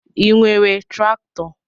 I nwere traktọ?